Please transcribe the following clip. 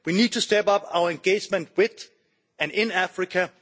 We need to step up our engagement with and in Africa.